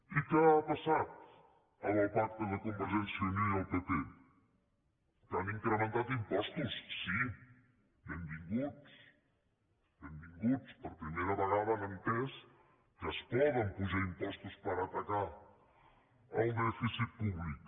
i què ha passat amb el pacte de convergència i unió i el pp que han incrementat impostos sí benvinguts benvinguts per primera vegada han entès que es poden apujar impostos per atacar el dèficit públic